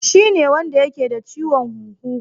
Shine wanda yake da ciwon huhu